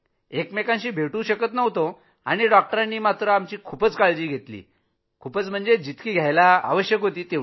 एकमेकांशी भेटू शकत नव्हतो आणि डॉक्टरांनी आमची पूर्ण काळजी घेतली जितकी घ्यायला हवी